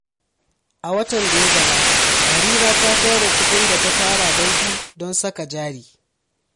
A watan da ya gabata, Harira ta tura kuɗin da ta tara banki don saka jari.